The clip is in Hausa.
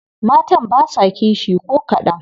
Matan basa kishi ko kadan.